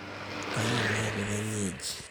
Tayiolo ajo kanyioo eji